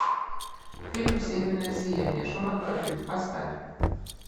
фильм северное сияние шорох крыльев поставь